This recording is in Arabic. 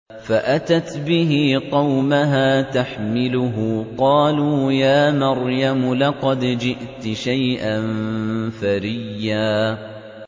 فَأَتَتْ بِهِ قَوْمَهَا تَحْمِلُهُ ۖ قَالُوا يَا مَرْيَمُ لَقَدْ جِئْتِ شَيْئًا فَرِيًّا